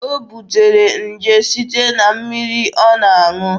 O butere nje site na mmiri ọ na-aṅụ.